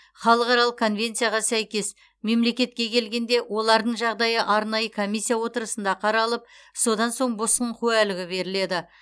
халықаралық конвенцияға сәйкес мемлекетке келгенде олардың жағдайы арнайы комиссия отырысында қаралып содан соң босқын куәлігі беріледі